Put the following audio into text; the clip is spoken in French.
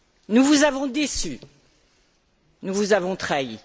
Nous vous avons déçus, nous vous avons trahis.